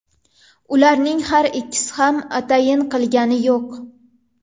Ularning har ikkisi ham atayin qilgani yo‘q.